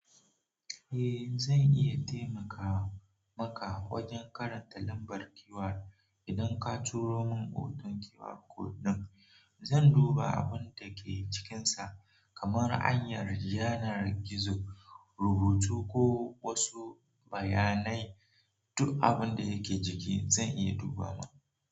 Eh zan iya taimaka maka wajen karanta lambar keyword. Idan ka turo mun hoton keyword code din, zan duba abun da ke cikinsa kamar hanyar, yanar gizo, rubutu ko wasu bayanai. Duk abun da yake jiki zan iya duba ma.